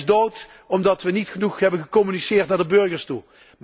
ACTA is dood, omdat we niet genoeg hebben gecommuniceerd naar de burgers toe.